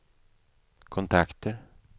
kontakter